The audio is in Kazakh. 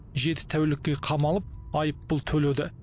жеті тәулікке қамалып айыппұл төледі